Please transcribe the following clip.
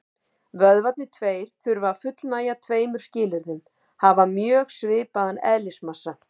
Vökvarnir tveir þurfa að fullnægja tveimur skilyrðum: Hafa mjög svipaðan eðlismassa.